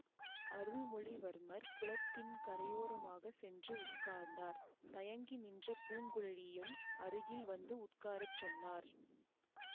அருள்மொழிவர்மர் குளத்தின் கரையோரமாகச் சென்று உட்கார்ந்தார் தயங்கி நின்ற பூங்குழலியையும் அருகில் வந்து உட்கார சொன்னார்